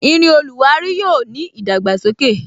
Irin oluwari yóò ní idagbasoke.